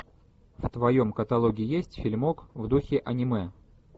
в твоем каталоге есть фильмок в духе аниме